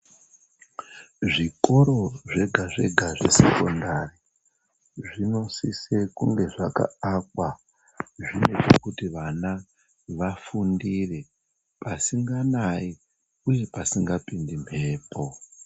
Zvikoro zvega-,zvega zvesekondari, zvinosise kunge zvakaakwa, zviri pekuti vana vafundire pasinganayi uye pasingapindi mbepo.